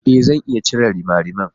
Ee! Zan iya cire rimariman.